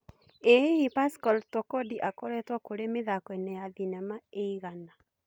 ĩ hihi pascal Tokodi akoretwo kũri mĩthakoinĩ ya thînema ĩigana